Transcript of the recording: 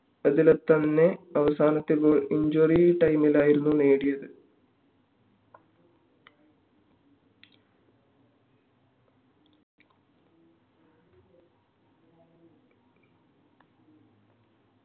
അതിൽത്തന്നെ അവസാനത്തെ goalcentuary time ലായിരുന്നു നേടിയത്